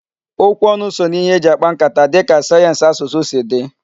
Okwu ọnụ so n'ihe eji akpa nkata dịka sayensị asụsụ si dị.